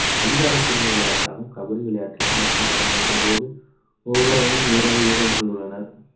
அதிகாரப்பூர்வ விளையாட்டாகும் கபடி விளையாட்டில் ஆட்டம் தொடங்கும்போது ஒவ்வொரு அணியும் ஏழு வீரர்கள் உள்ளனர்